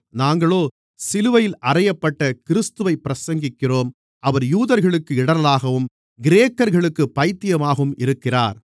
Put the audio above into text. நாங்களோ சிலுவையில் அறையப்பட்ட கிறிஸ்துவைப் பிரசங்கிக்கிறோம் அவர் யூதர்களுக்கு இடறலாகவும் கிரேக்கர்களுக்குப் பைத்தியமாகவும் இருக்கிறார்